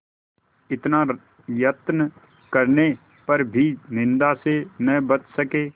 इतना यत्न करने पर भी निंदा से न बच सके